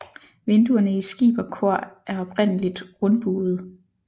Vinduerne i skib og kor er oprindeligtrundbuede